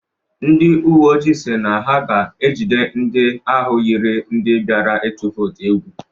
Ndị uwe ojii si na ha ga-ejide ndị ahụ yiri ndị biara ịtụ vootu egwu.